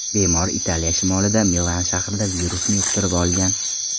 Bemor Italiya shimolida, Milan shahrida, virusni yuqtirib olgan.